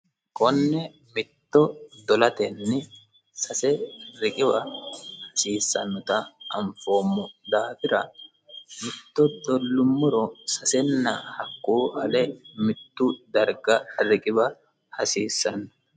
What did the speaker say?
konne mitto dolatenni sase riqiwa hasiissannota anfoommo daafira mitto dollummuro sasenna hakkuu hale mittu darga riqiba hasiissanno